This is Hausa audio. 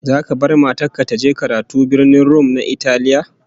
Zaka bar matar ka ta je karatu a Birnin Rum na Italiya?